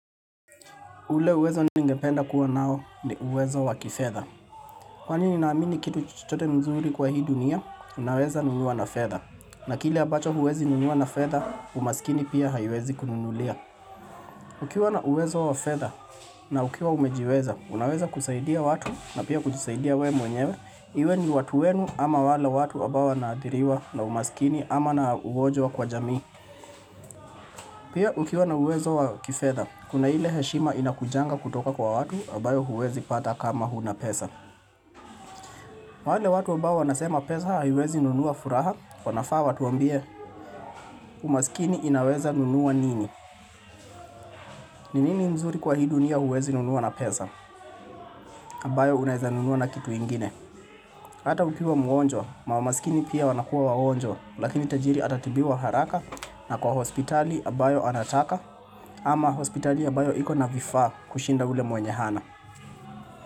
Ule uwezo ningependa kuwa nayo ni uwezo wa kifedha. Kwa ninaamini kitu chochote mzuri kwa hii dunia, unaweza nunua na fedha. Na kile ambacho huwezi nunua na fedha, umaskini pia haiwezi kununulia. Ukiwa na uwezo wa fedha na ukiwa umejiweza, unaweza kusaidia watu na pia kujisaidia we mwenyewe. Iwe ni watu wenu ama wale watu ambao wanaathiriwa na umaskini ama na ugonjwa kwa jamii. Pia ukiwa na uwezo wa kifedha, kuna ile heshima inakujanga kutoka kwa watu, ambayo huwezi pata kama huna pesa. Wale watu ambao wanasema pesa haiwezi nunua furaha, wanafaa watuambie, umaskini inaweza nunua nini. Ni nini mzuri kwa hii dunia huwezi nunua na pesa, ambayo unaeza nunua na kitu ingine. Hata ukiwa mgonjwa, mamaskini pia wanakuwa wagonjwa, lakini tajiri atatibiwa haraka, na kwa hospitali ambayo anataka, ama hospitali ambayo iko na vifaa kushinda ule mwenye hana.